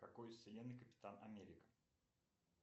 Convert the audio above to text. какой вселенной капитан америка